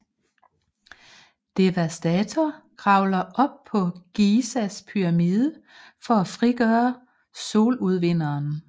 Devastator kravler op på Gizas pyramide for at frigøre Soludvinderen